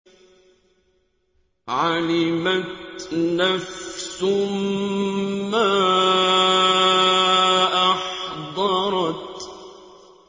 عَلِمَتْ نَفْسٌ مَّا أَحْضَرَتْ